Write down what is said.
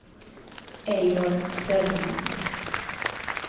Eivor Söderman